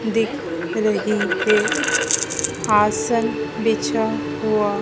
दिख रही है आसन बिछा हुआ--